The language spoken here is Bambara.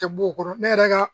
Tɛ b'o kɔrɔ ne yɛrɛ ka